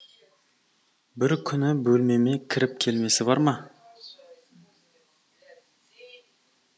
бір күні бөлмеме кіріп келмесі бар ма